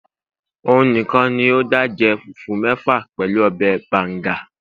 òun nìkàn ní o da je fufu mefa pẹlú obe banga